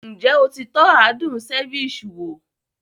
Ǹjẹ́ o ti tọ́ adùn ceviche wo?